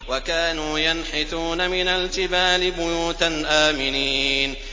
وَكَانُوا يَنْحِتُونَ مِنَ الْجِبَالِ بُيُوتًا آمِنِينَ